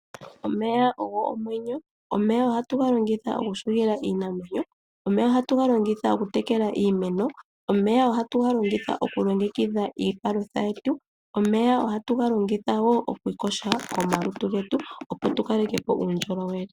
Omeya ogo omwenyo. Omeya ohatu ga longitha okuhugila iinamwenyo. Omeya ohatu ga longitha okutekela iimeno. Omeya ohatu ga longitha okulongekidha iipalutha yetu. Omeya ohatu ga longitha wo okuyoga omalutu getu, opo tu kaleke po uundjolowele.